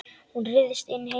Hún ryðst inn heima.